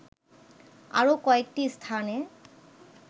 আরো কয়েকটি স্থানে